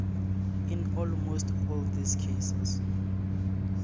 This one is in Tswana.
in almost all these cases